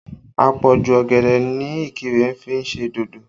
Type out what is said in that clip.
Àpọ̀jù ọ̀gẹ̀dẹ̀ ni Ikire fi ń ṣe dodo